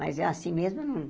Mas, é assim mesmo